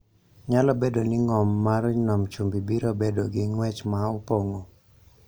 nyalo bedo ni ng�om mar Nam Chumbi biro bedo gi ng�wech ma opong�o,